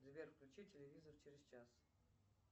сбер включи телевизор через час